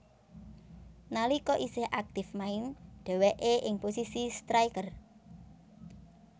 Nalika isih aktif main dheweke ing posisi striker